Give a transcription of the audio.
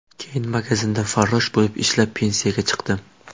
Keyin magazinda farrosh bo‘lib ishlab, pensiyaga chiqdim.